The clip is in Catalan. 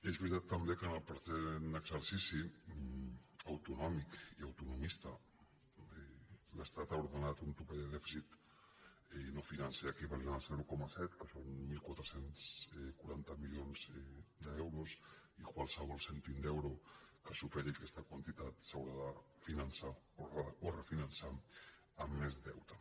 és veritat també que en el present exercici autonòmic i autonomista l’estat ha ordenat un topall de dèficit no financer equivalent al zero coma set que són catorze quaranta milions d’euros i qualsevol cèntim d’euro que superi aquesta quantitat s’haurà de finançar o refinan·çar amb més deute